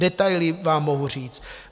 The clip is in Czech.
Detaily vám mohu říct.